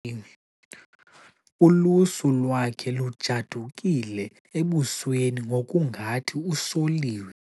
Ulusu lwakhe lujadukile ebusweni ngokungathi usoliwe.